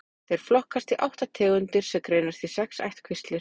Þeir flokkast í átta tegundir sem greinast í sex ættkvíslir.